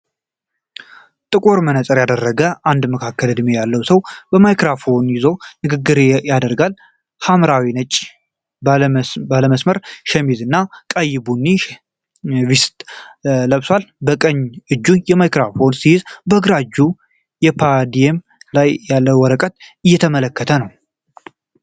ጥቁር መነጽር የደረገ አንድ መካከለኛ እድሜ ያለው ሰው ማይክሮፎን ይዞ ንግግር ያደርጋል። ሐምራዊና ነጭ ባለመስመር ሸሚዝ ላይ ቀይ ቡኒ ቬስት ለብሷል። በቀኝ እጁ ማይክሮፎን ሲይዝ በግራ እጁ በፖዲየም ላይ ያለ ወረቀት እየተመለከተ ነው።